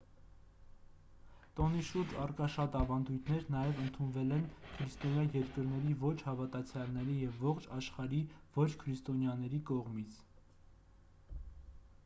տոնի շուրջ առկա շատ ավանդույթներ նաև ընդունվել են քրիստոնյա երկրների ոչ հավատացյալների և ողջ աշխարհի ոչ քրիստոնյաների կողմից